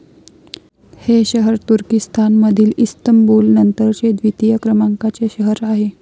हे शहर तुर्किस्तानमधील इस्तंबूल नंतरचे द्वितीय क्रमांकाचे शहर आहे.